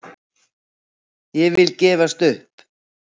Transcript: Og ég vil gefst upp!